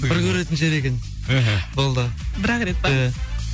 бір көретін жер екен іхі болды бір ақ рет па иә